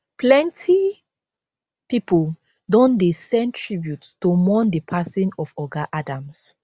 plenty pipo don dey send tributes to mourn di passing of oga adams